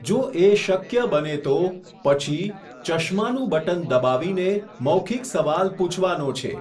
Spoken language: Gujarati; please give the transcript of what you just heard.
જો એ શક્ય બને તો પછી ચશ્માનું બટન દબાવીને મૌખિક સવાલ પૂછવાનો છે.